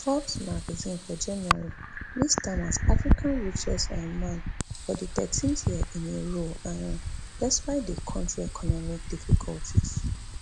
forbes magazine for january list am as africa richest um man for di thirteenth year in a row um despite di kontri economic difficulties